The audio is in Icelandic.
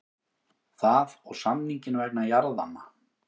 Það og samninginn vegna jarðanna.